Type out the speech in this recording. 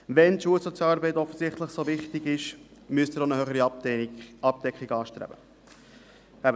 Wenn die Schulsozialarbeit offensichtlich so wichtig ist, müsste er auch eine höhere Abdeckung anstreben.